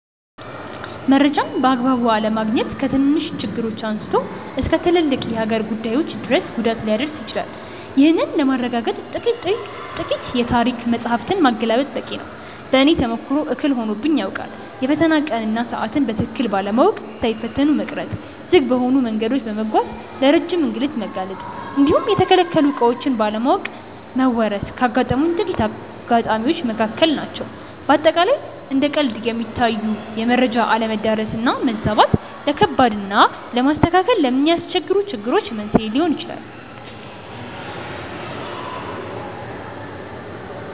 መረጃን በአግባቡ አለማግኘት ከትንንሽ ችግሮች አንስቶ እስከ ትልልቅ የሀገር ጉዳዮች ድረስ ጉዳት ሊያደርስ ይችላል። ይህንን ለማረጋገጥ ጥቂት የታሪክ መጻሕፍትን ማገላበጥ በቂ ነው። በእኔም ተሞክሮ እክል ሆኖብኝ ያውቃል። የፈተና ቀንን እና ሰዓትን በትክክል ባለማወቅ ሳይፈተኑ መቅረት፣ ዝግ በሆኑ መንገዶች በመጓዝ ለረጅም እንግልት መጋለጥ እንዲሁም የተከለከሉ ዕቃዎችን ባለማወቅ መወረስ ካጋጠሙኝ ጥቂት አጋጣሚዎች መካከል ናቸው። በአጠቃላይ እንደ ቀልድ የሚታዩ የመረጃ አለመዳረስ እና መዛባት፣ ለከባድ እና ለማስተካከል ለሚያስቸግሩ ችግሮች መንስኤ ሊሆኑ ይችላሉ።